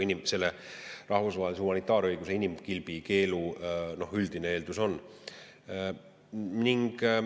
Seda rahvusvaheline humanitaarõigus inimkilbikeelu.